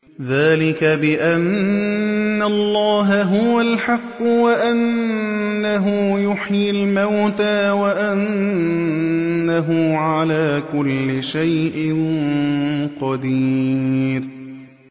ذَٰلِكَ بِأَنَّ اللَّهَ هُوَ الْحَقُّ وَأَنَّهُ يُحْيِي الْمَوْتَىٰ وَأَنَّهُ عَلَىٰ كُلِّ شَيْءٍ قَدِيرٌ